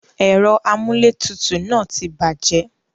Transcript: Ẹ̀rọ amúlétutù náà ti bàjẹ́.